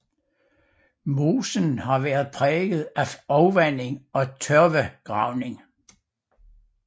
Mosen har været præget af afvanding og tørvegravning